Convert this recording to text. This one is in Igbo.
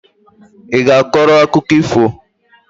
I ga-akọrọ akụkọ ifo?